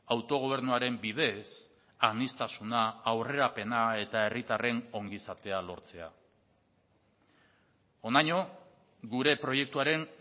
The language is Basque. autogobernuaren bidez aniztasuna aurrerapena eta herritarren ongizatea lortzea honaino gure proiektuaren